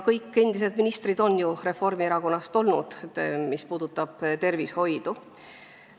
Kõik endised tervishoiu valdkonna ministrid on tulnud Reformierakonnast.